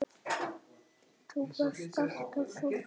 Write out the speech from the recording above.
Þú varst alltaf svo fín.